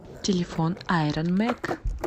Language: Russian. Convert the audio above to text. телефон айрон мэг